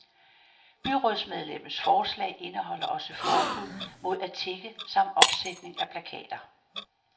Byrådsmedlemmets forslag indeholder også forbud mod at tigge samt opsætning af plakater.